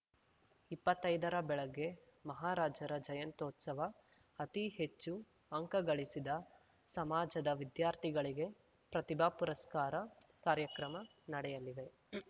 ಇಪ್ಪತ್ತೈದರ ಬೆಳಗ್ಗೆ ಮಹಾರಾಜರ ಜಯಂತ್ಯೋತ್ಸವ ಅತೀ ಹೆಚ್ಚು ಅಂಕಗಳಿಸಿದ ಸಮಾಜದ ವಿದ್ಯಾರ್ಥಿಗಳಿಗೆ ಪ್ರತಿಭಾ ಪುರಸ್ಕಾರ ಕಾರ್ಯಕ್ರಮ ನಡೆಯಲಿವೆ